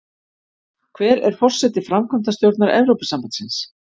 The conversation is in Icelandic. Hver er forseti framkvæmdastjórnar Evrópusambandsins?